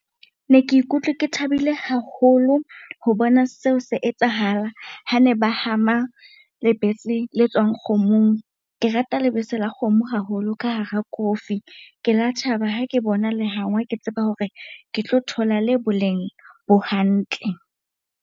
Ne ke ikutlwe ke thabile haholo ho bona seo se etsahala hane ba hama lebese le tswang kgomong. Ke rata lebese la kgomo haholo ka hara kofi. Ke la thaba ha ke bona le hangwa, ke tseba hore ke tlo thola le boleng bo hantle.